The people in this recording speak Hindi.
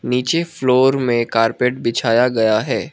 नीचे फ्लोर में कार्पेट बिछाया गया है।